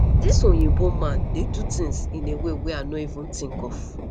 this oyinbo man dey do things in a way wey i no even think of